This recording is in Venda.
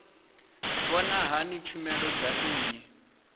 vhona hani tshumelo dza nnyi